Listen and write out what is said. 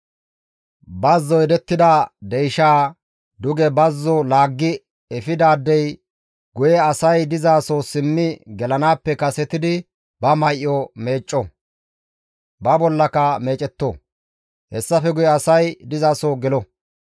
«Bazzo yedettiza deyshaa duge bazzo laaggi efidaadey guye asay dizaso simmi gelanaappe kasetidi ba may7o meecco; ba bollaka meecetto; hessafe guye asay dizaso gelo.